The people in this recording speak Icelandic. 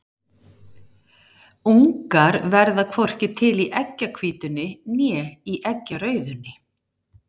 Ungar verða hvorki til í eggjahvítunni né eggjarauðunni.